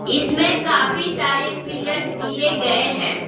इसमें काफी सारे पिलर्स दिए गए हैं।